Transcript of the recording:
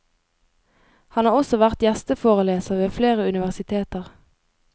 Han har også vært gjesteforeleser ved flere universiteter.